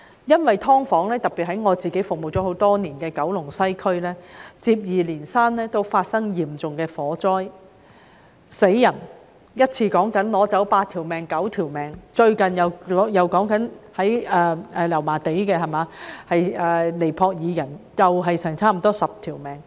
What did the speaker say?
因為，"劏房"，特別是在我服務多年的九龍西，也曾接二連三發生嚴重火災，甚至造成人命傷亡，一次意外便奪去八九條人命，在近期的油麻地大火中，也有接近10名尼泊爾人被奪去性命。